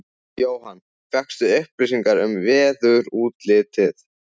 Jóhann: Fékkstu upplýsingar um veðurútlitið?